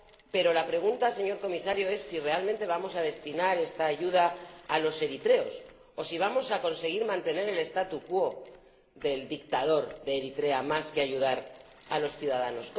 pero la pregunta, señor Comisario, es si realmente vamos a destinar esta ayuda a los eritreos o si vamos a conseguir mantener el statu quo del dictador de Eritrea más que ayudar a los ciudadanos.